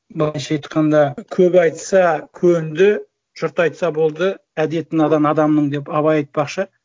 былайша айтқанда көп айтса көнді жұрт айтса болды әдеті надан адамның деп абай айтпақшы